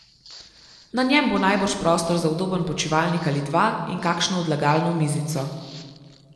Na njem bo najbrž prostor za udoben počivalnik ali dva in kakšno odlagalno mizico.